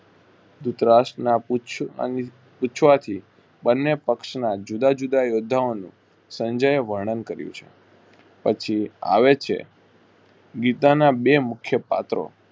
ધુતરાષ્ટ ના પુછ અહીં પૂછવાથી બને પક્ષના જુદા~જુદા યુદ્ધાઓનું સંજયે વરણન કર્યું છે. પછી આવેછે ગીતાના બે મુખ્ય પાત્રો